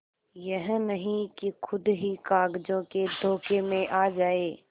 यह नहीं कि खुद ही कागजों के धोखे में आ जाए